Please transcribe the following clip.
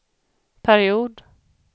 period